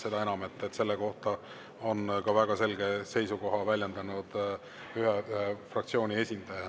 Seda enam, et selle kohta on ka väga selget seisukohta väljendanud ühe fraktsiooni esindaja.